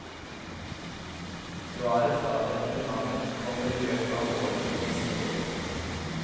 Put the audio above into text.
Svaret fra departementet kommer i løpet av våren neste år.